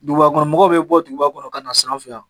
Duguba kɔnɔ mɔgɔ bɛ bɔ duguba kɔnɔ ka n'a san an fɛ yan.